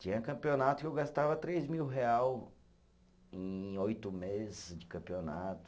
Tinha campeonato que eu gastava três mil real em oito meses de campeonato.